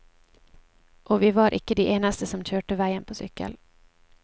Og vi var ikke de eneste som kjørte veien på sykkel.